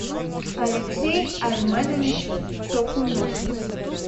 алексей арменович токунов